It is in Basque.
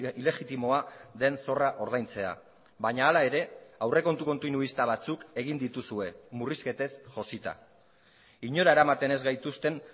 ilegitimoa den zorra ordaintzea baina hala ere aurrekontu kontinuista batzuk egin dituzue murrizketez josita inora eramaten ez gaituzten